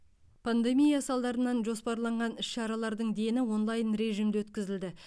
пандемия салдарынан жоспарланған іс шаралардың дені онлайн режімде өткізілді